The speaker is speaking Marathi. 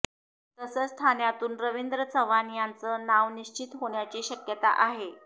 तसंच ठाण्यातून रवींद्र चव्हाण यांचं नाव निश्चित होण्याची शक्यता आहे